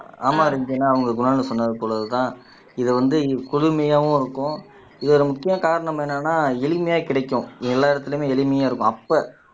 ஆமா ரஞ்சனா அவங்க குணால்னு சொன்னது போலதான் இதை வந்து குளுமையாவும் இருக்கும் இது ஒரு முக்கிய காரணம் என்னன்னா எளிமையா கிடைக்கும் எல்லா இடத்துலயுமே எளிமையா இருக்கும் அப்ப